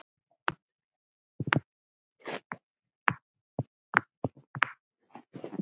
Magnea Hrönn.